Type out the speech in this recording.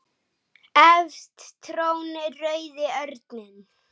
Efst trónir rauði örninn.